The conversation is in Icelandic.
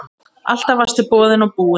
Alltaf varstu boðinn og búinn.